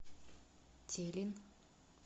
телин